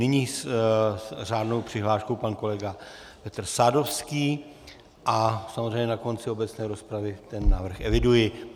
Nyní s řádnou přihláškou pan kolega Petr Sadovský a samozřejmě na konci obecné rozpravy ten návrh eviduji.